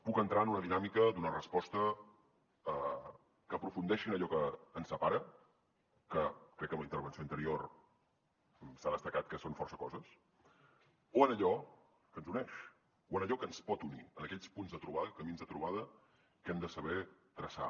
puc entrar en una dinàmica d’una resposta que aprofundeixi en allò que ens separa que crec que amb la intervenció anterior s’ha destacat que són força coses o en allò que ens uneix o en allò que ens pot unir en aquells punts de trobada camins de trobada que hem de saber traçar